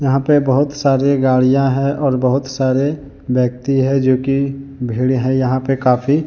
यहां पे बहुत सारी गाड़ियां हैं और बहुत सारे व्यक्ति है जो की भीड़ है यहां पे काफी।